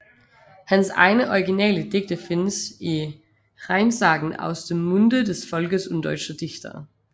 Hans egne originale digte findes i Rheinsagen aus dem Munde des Volkes und deutscher Dichter